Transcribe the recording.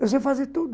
Eu sei fazer tudo.